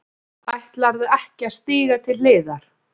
Ætlarðu ekki að stíga til hliðar?